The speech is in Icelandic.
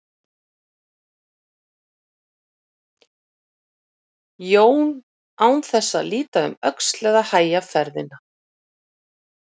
Jón án þess að líta um öxl eða hægja ferðina.